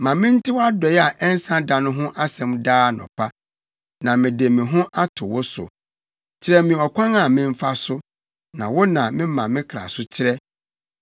Ma mente wʼadɔe a ɛnsa da no ho asɛm daa anɔpa, na mede me ho ato wo so. Kyerɛ me ɔkwan a memfa so, na wo na mema me kra so kyerɛ.